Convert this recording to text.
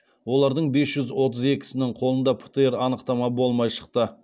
олардың бес жүз отыз екісінің қолында птр анықтама болмай шықты